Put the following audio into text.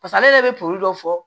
Pasa ale yɛrɛ bɛ probi dɔ fɔ